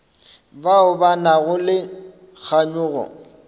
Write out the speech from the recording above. bao ba nago le kganyogo